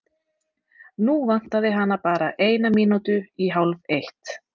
Nú vantaði hana bara eina mínútu í hálfeitt.